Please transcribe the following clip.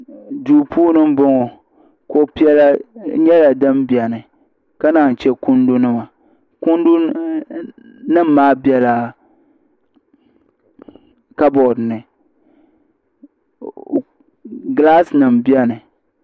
duu puuni n bɔŋɔ kuɣu piɛla nyɛla din biɛni ka naan chɛ kundu nima kundu nim maa biɛla kabood ni gilaas nim biɛni